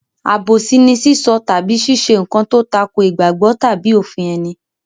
Àbòsí ni sísọ tàbí ṣíṣe nǹkan tó tako ìgbàgbọ́ tàbí òfin ẹni.